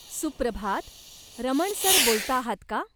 सुप्रभात, रमण सर बोलताहात का?